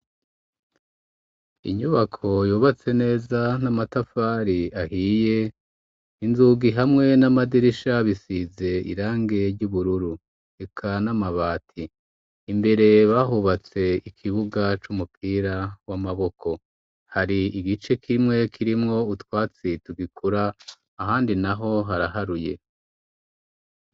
Inyubako yubatse neza n'amatafari ahiye. Inzugi hamwe n'amadirisha bisize irangi ry'ubururu, eka n'amabati. Imbere bahubatse ikibuga c'umupira w'amaboko. Har'igice kimwe kirimwo utwatsi tugikura ahandi n'aho haraharuye.